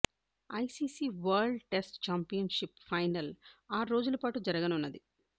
ICC world test championship final ఆరు రోజుల పాటు జరుగనున్నది